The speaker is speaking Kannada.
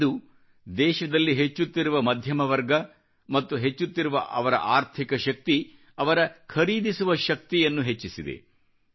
ಇಂದು ದೇಶದಲ್ಲಿ ಹೆಚ್ಚುತ್ತಿರುವ ಮಧ್ಯಮ ವರ್ಗ ಮತ್ತು ಹೆಚ್ಚುತ್ತಿರುವ ಅವರ ಅರ್ಥಿಕ ಶಕ್ತಿ ಅವರ ಖರೀದಿಸುವ ಶಕ್ತಿಯನ್ನು ಪರ್ಚೇಸಿಂಗ್ ಪವರ್ ಹೆಚ್ಚಿಸಿದೆ